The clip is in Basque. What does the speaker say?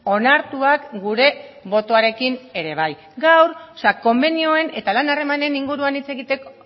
onartuak gure botoarekin ere bai gaur konbenioen eta lan harremanen inguruan hitz egiteko